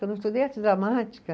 Eu não estudei arte dramática.